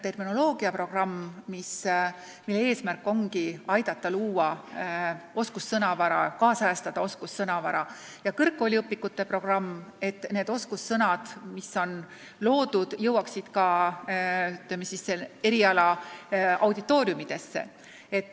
Terminoloogiaprogrammi eesmärk on aidata kaasa oskussõnavara loomisele ja kaasajastamisele, kõrgkooliõpikute programmi eesmärk on, et need oskussõnad, mis on loodud, jõuaksid ka auditooriumidesse.